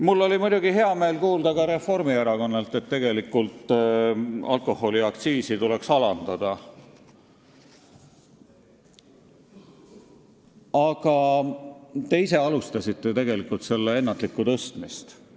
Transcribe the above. Mul oli muidugi hea meel kuulda ka Reformierakonnalt, et alkoholiaktsiisi tuleks alandada, aga ise te selle ennatlikku tõstmist alustasite.